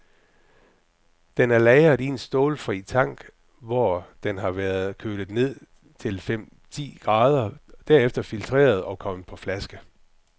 Den er lagret i en stålfri tank, hvor den har været kølet ned til fem ti grader, derefter filtreret og kommet på flaske.